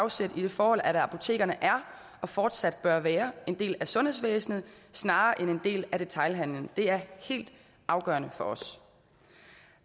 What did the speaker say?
afsæt i det forhold at apotekerne er og fortsat bør være en del af sundhedsvæsenet snarere end en del af detailhandelen det er helt afgørende for os